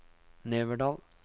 Neverdal